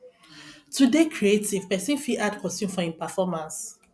to dey creative person fit add costume for im performace